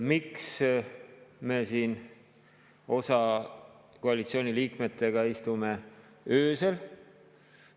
Miks me siin osade koalitsiooniliikmetega istume öösel?